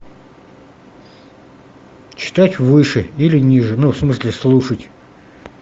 читать выше или ниже ну в смысле слушать